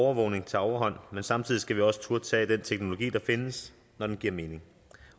overvågning tager overhånd men samtidig skal vi også turde tage den teknologi der findes når den giver mening